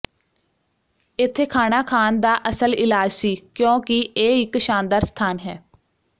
ਇੱਥੇ ਖਾਣਾ ਖਾਣ ਦਾ ਅਸਲ ਇਲਾਜ ਸੀ ਕਿਉਂਕਿ ਇਹ ਇਕ ਸ਼ਾਨਦਾਰ ਸਥਾਨ ਹੈ